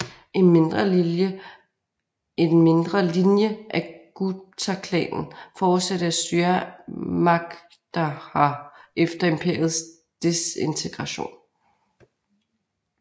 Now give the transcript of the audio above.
En mindre linje af Guptaklanen fortsatte at styre Magadha efter imperiets desintegration